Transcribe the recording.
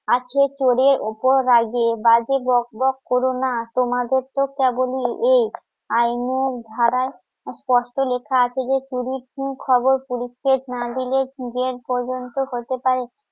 আছে চোরের উপর রাগে বাজে বকবক করো না তোমাদের তো কেমনই এক আইনের ধারা স্পষ্ট লেখা আছে যে চুরির ঠিক খবর পুলিশকে না দিলে জেল পর্যন্ত হতে পারে